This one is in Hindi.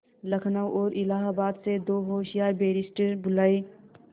लखनऊ और इलाहाबाद से दो होशियार बैरिस्टिर बुलाये